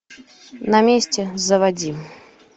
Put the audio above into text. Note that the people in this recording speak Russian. на месте заводи